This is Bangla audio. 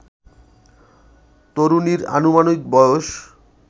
তরুণীর আনুমানিক বয়স